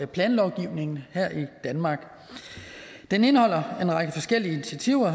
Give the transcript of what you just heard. planlovgivningen her i danmark den indeholder en række forskellige initiativer